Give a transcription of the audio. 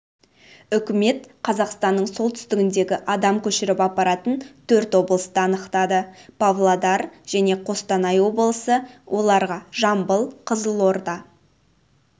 үкімет қазақстанның солтүстігіндегі адам көшіріп апаратын төрт облысты анықтады павлоар және қостанай облысы оларға жамбыл қызылорда